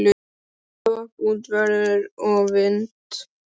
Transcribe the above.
Hæ-hopp út í veður og vind.